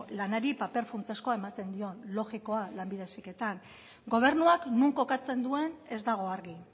lanari paper funtsezkoa ematen dion logikoa lanbide heziketan gobernuak non kokatzen duen ez dago argi